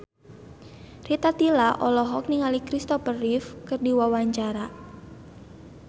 Rita Tila olohok ningali Christopher Reeve keur diwawancara